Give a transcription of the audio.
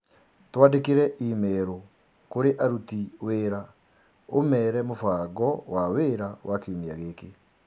Twandĩkĩre i-mīrū kũrĩ aruti wĩra ũmeere mũbango wa wĩra wa kiumia gĩkĩ